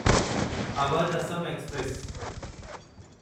Awadh Assam express